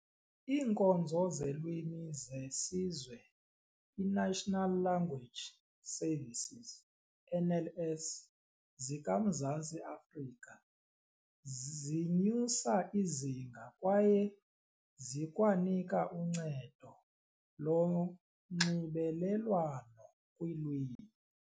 Iinkonzo zeLwimi zeSizwe National Language Services NLS zika-Mzantsi Afrika zinyusa izinga kwaye zikwanika uncedo lonxibelelwano kwiilwimi.